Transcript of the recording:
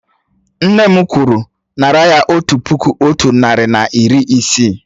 Nne m kwuru, nárà ya otu puku otu narị na iri isii!